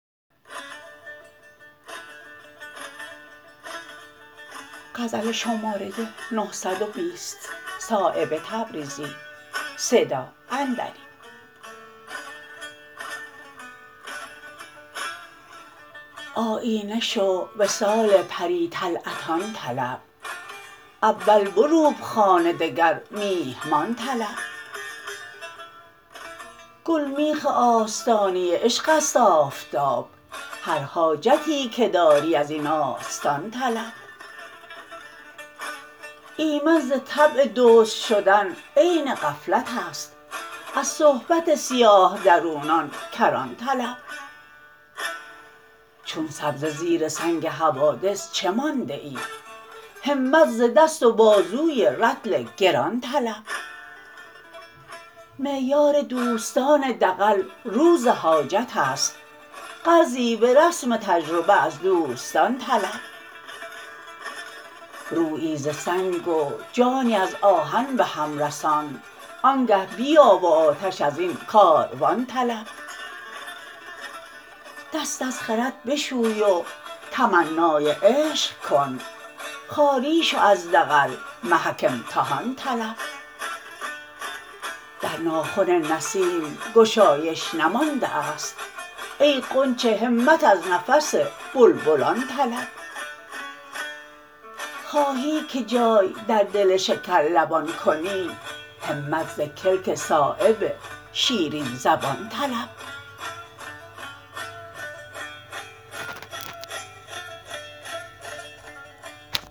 آیینه شو وصال پری طلعتان طلب اول بروب خانه دگر میهمان طلب گلمیخ آستانه عشق است آفتاب هر حاجتی که داری ازین آستان طلب ایمن ز طبع دزد شدن عین غفلت است از صحبت سیاه درونان کران طلب چون سبزه زیر سنگ حوادث چه مانده ای همت ز دست و بازوی رطل گران طلب معیار دوستان دغل روز حاجت است قرضی به رسم تجربه از دوستان طلب رویی ز سنگ و جانی از آهن به هم رسان آنگه بیا و آتش ازین کاروان طلب دست از خرد بشوی و تمنای عشق کن خالی شو از دغل محک امتحان طلب در ناخن نسیم گشایش نمانده است ای غنچه همت از نفس بلبلان طلب خواهی که جای در دل شکرلبان کنی همت ز کلک صایب شیرین زبان طلب